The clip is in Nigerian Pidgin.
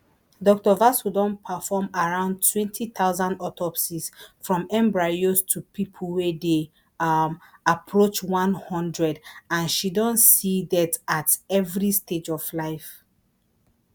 dr vasu don perform around twenty thousand autopsies from embryos to pipo wey dey um approach one hundred and she don see death at evri stage of life